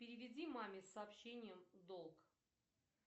переведи маме с сообщением долг